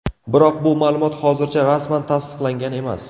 Biroq bu ma’lumot hozircha rasman tasdiqlangan emas.